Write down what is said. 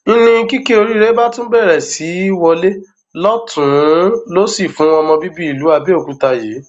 n ní kìkì oríire bá tún bẹrẹ sí í wọlé lọtùnún lósì fún ọmọ bíbí ìlú abẹòkúta yìí